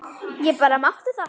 Ég bara mátti það!